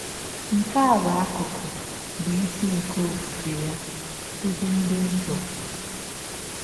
Nke a bụ akụkụ bụ́ isi nke ọfụfe ya, “ ọzi dị nsọ. ”